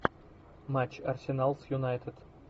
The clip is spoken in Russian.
матч арсенал с юнайтед